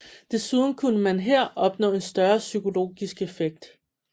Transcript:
Desuden kunne man her opnå en større psykologisk effekt